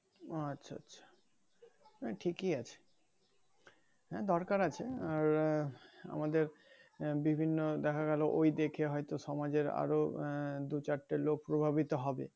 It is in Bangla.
ও আচ্ছা আচ্ছা নাহ ঠিকই আছে হ্যাঁ দরকার আছে আর আমাদের বিভিন্ন দেখা গেলো ওই দেখে হয়তো সমাজের আরো আহ দু চারটে লোক প্রভাবিত হবে